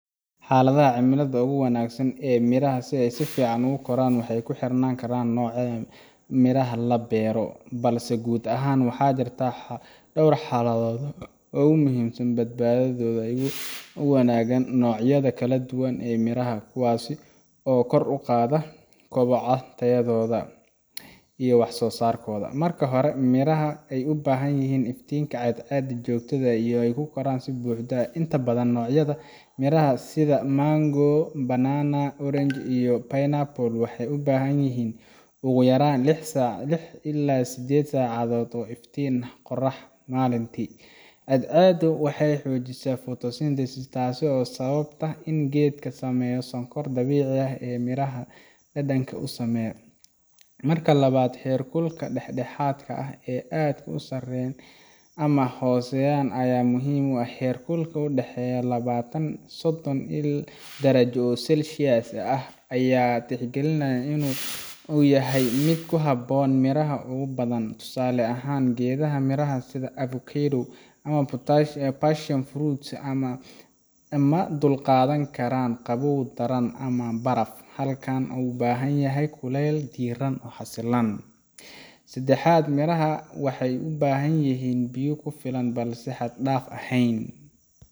Xaaldaha cimilada ugu wanaagsan ee midhaha si ay si fiican u koraan waxay ku xirnaan karaan nooca midhaha la beero, balse guud ahaan waxaa jira dhowr xaaladood oo muhiim ah oo badankooda ay wadaagaan noocyada kala duwan ee miraha, kuwaasoo kor u qaada kobocooda, tayadooda, iyo waxsoosaarkooda. Marka hore, miraha waxay u baahan yihiin iftiin cadceed oo joogto ah si ay u koraan si buuxda. Inta badan noocyada midhaha sida mango, banana, orange, iyo pineapple waxay u baahan yihiin ugu yaraan lix ilaa siddeed saacadood oo iftiin qorrax maalintii ah. Cadceeddu waxay xoojisaa photosynthesis, taasoo sababta in geedka sameeyo sonkoraha dabiiciga ah ee midhaha dhadhanka u sameeya. Marka labaad, heerkulka dhexdhexaadka ah oo aan aad u sarreyn ama u hooseyn ayaa muhiim ah. Heerkul u dhexeeya labaatan ilaa sodon darajo oo Celsius ah ayaa la tixgeliyaa inuu yahay mid ku habboon miraha ugu badan. Tusaale ahaan, geedaha midhaha sida avocado ama passion fruit ma dulqaadan karaan qabow daran ama baraf, halka ay u baahan yihiin kulayl diirran oo xasilan. Saddexaad, miraha waxay u baahan yihiin biyo ku filan balse aan xad-dhaaf ahayn.